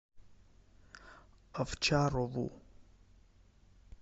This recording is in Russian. овчарову